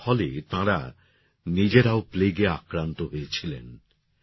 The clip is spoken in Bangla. এর ফলে তাঁরা নিজেরাও প্লেগে আক্রান্ত হয়েছিলেন